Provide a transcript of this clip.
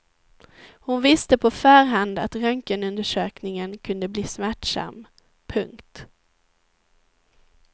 Hon visste på förhand att röntgenundersökningen kunde bli smärtsam. punkt